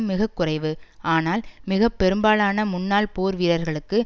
மிக குறைவு ஆனால் மிக பெரும்பாலான முன்னாள் போர் வீரர்களுக்கு